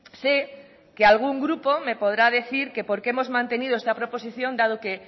sé que algún grupo me podrá decir que por qué hemos mantenido esta proposición dado que